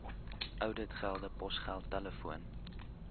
ouditgelde posgeld telefoon